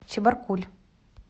чебаркуль